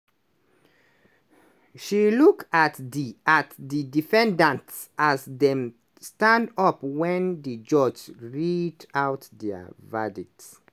she look at di at di defendants as dem stand up wen di judges read out dia verdicts.